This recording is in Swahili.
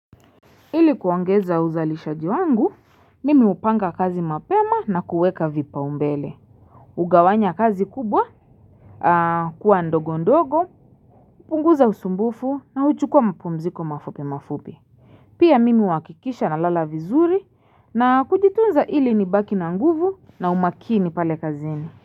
Ili kuongeza uzalishaji wangu, mimi hupanga kazi mapema na kuweka vipa umbele. Hugawanya kazi kubwa, kuwa ndogo ndogo, hupunguza usumbufu na uchukua mpumziko mafupi mafupi. Pia mimi huwakikisha na lala vizuri na kujitunza ili nibaki na nguvu na umakini pale kazini.